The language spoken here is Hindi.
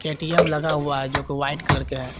के_टी_एम लगा हुआ है जोकि व्हाइट कलर के है।